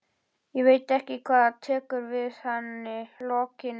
Og samt átti hann okkur mömmu.